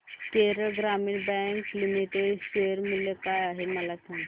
Kerala Gramin bank limited share मूल्य काय आहे मला सांगा